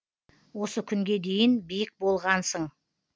осы күнге дейін биік болғансың